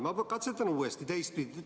Ma katsetan uuesti.